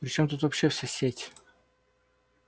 при чём тут вообще вся сеть